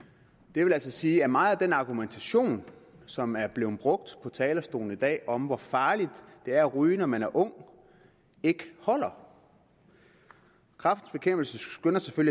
det vil altså sige at meget af den argumentation som er blevet brugt på talerstolen i dag om hvor farligt det er at ryge når man er ung ikke holder kræftens bekæmpelse skynder sig